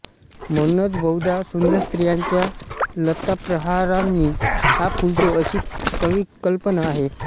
म्हणूनच बहुधा सुंदर स्त्रियांच्या लत्ताप्रहारांनी हा फुलतो अशी कविकल्पना आहे